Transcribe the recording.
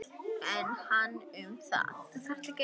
En hann um það.